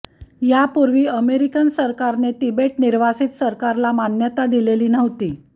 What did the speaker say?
यापूर्वी अमेरिकन सरकारने तिबेट निर्वासित सरकारला मान्यता दिलेली नव्हती